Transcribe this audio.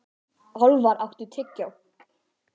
Álfar, áttu tyggjó?